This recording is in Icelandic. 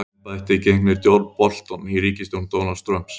Hvaða embætti gegnir John Bolton í ríkisstjórn Donalds Trump?